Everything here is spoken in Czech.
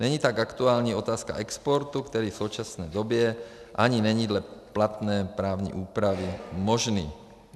Není tak aktuální otázka exportu, který v současné době ani není dle platné právní úpravy možný.